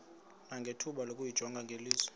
nangethuba lokuyijonga ngeliso